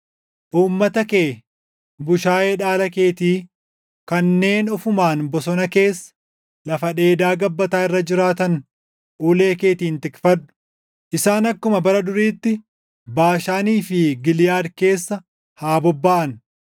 Uummata kee, bushaayee dhaala keetii kanneen ofumaan bosona keessa, lafa dheedaa gabbataa irra jiraatan ulee keetiin tikfadhu. Isaan akkuma bara duriitti Baashaanii fi Giliʼaad keessa haa bobbaʼan.